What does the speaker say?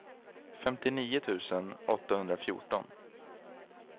femtionio tusen åttahundrafjorton